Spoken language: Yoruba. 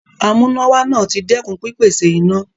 Amúnáwá náà ti dẹ́kun pípèsè iná.